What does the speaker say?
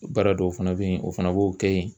Baara dɔw fana bɛ yen o fana b'o kɛ yen